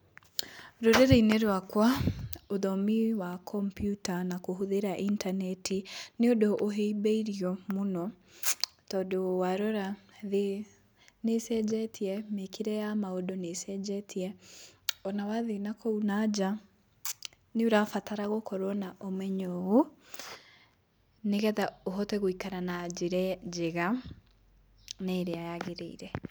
Rũrĩrĩ-inĩ rwakwa ũthomi wa kompyuta na kũhũthĩra intaneti, nĩũndũ ũhĩmbĩirio mũno, tondũ warora thĩ nĩcenjetie, mĩkĩre ya maũndũ nĩcenjetie. Ona wathiĩ nakũu nanja nĩũrabatara gũkorwo na ũmenyo ũũ, nĩgetha ũhote gũikara na njĩra njega na ĩrĩa yagĩrĩire.